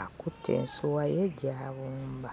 Akutte ensuwa ye gy'abumba.